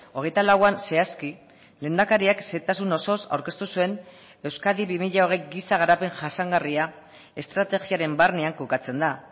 hogeita lauan zehazki lehendakariak xehetasun osoz aurkeztu zuen euskadi bi mila hogei giza garapen jasangarria estrategiaren barnean kokatzen da